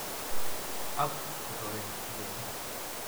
Ak kotoret icheket.